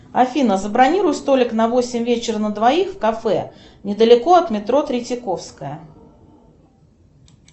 афина забронируй столик на восемь вечера на двоих в кафе недалеко от метро третьяковская